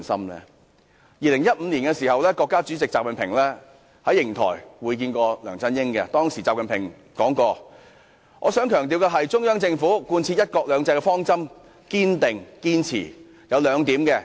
國家主席習近平曾於2015年在瀛台會見梁振英，當時習近平說："我想強調的是，中央貫徹'一國兩制'方針堅持兩點。